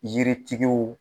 Yiritigiw